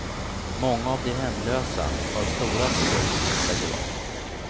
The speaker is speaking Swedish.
Många av de hemlösa har stora sår som hon lägger om.